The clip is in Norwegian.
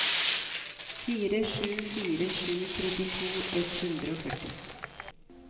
fire sju fire sju trettito ett hundre og førti